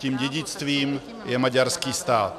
Tím dědictvím je maďarský stát.